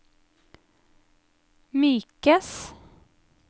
mykes